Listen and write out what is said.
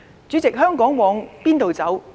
主席，香港往何處走？